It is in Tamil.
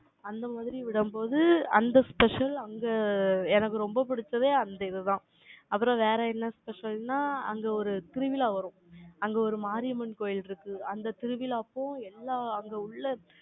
அந்த மாதிரி விடும்போது, அந்த special அங்க எனக்கு ரொம்ப பிடிச்சது, அந்த இதுதான். அப்புறம் வேற என்ன special னா, அங்க ஒரு திருவிழா வரும் அங்க ஒரு மாரியம்மன் கோயில் இருக்கு. அந்த திருவிழா அப்போ எல்லாம் அங்க உள்ள